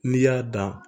N'i y'a dan